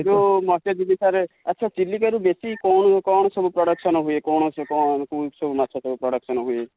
ସେ ଯୋଉ ମତ୍ସ୍ୟଯିବୀ sir sir ଆଚ୍ଛା ଚିଲିକା ରୁ ବେଶୀ କଣ ସବୁ production ହୁଏ କଣ ସବୁ କୋଉ ସବୁ ମାଛ production ହୁଏ?